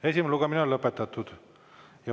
Esimene lugemine on lõpetatud.